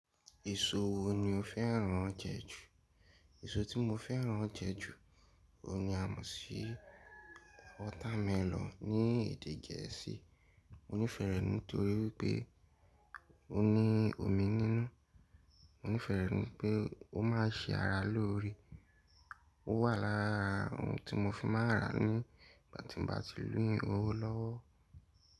Èso wo ni o fẹ́ràn jẹ jù? Èso tí mo fẹ́ràn jẹ jù, o ní àmọ́ sí watermelon ní èdè gẹ̀ẹ́sì. Mo nífẹẹ rẹ nítorí wipé ó ní omi nínú. Mo nífẹẹ rẹ ní pé ó ma ṣe ara lóore. Ó wà lára ohun tí mo fi máa rà ni ígbà tí mo bá ti ni owó lọ́wọ́.